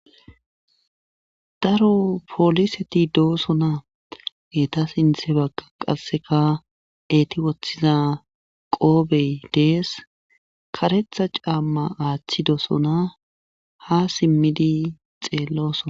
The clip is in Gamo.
Daro pooliseti doosona eeta sinthe bagga qasseka eeti wothiza qoobey dees karetha caamma aathidosona haa simmidi xeellosona.